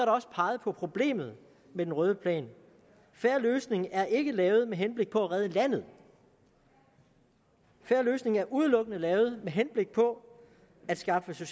også peget på problemet med den røde plan en fair løsning er ikke lavet med henblik på at redde landet en fair løsning er udelukkende lavet med henblik på at skaffe